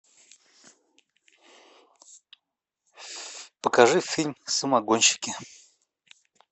покажи фильм самогонщики